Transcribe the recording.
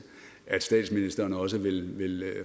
at statsministeren også vil